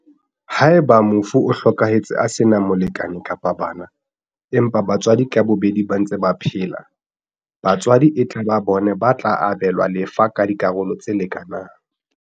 Haeba mofu o hlokahetse a sena molekane kapa bana, empa batswadi ka bobedi ba ntse ba phela, batswadi e tla ba bona ba tla abelwa lefa ka dikarolo tse leka nang.